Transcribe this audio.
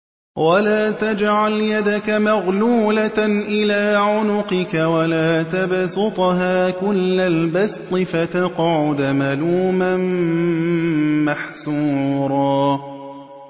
وَلَا تَجْعَلْ يَدَكَ مَغْلُولَةً إِلَىٰ عُنُقِكَ وَلَا تَبْسُطْهَا كُلَّ الْبَسْطِ فَتَقْعُدَ مَلُومًا مَّحْسُورًا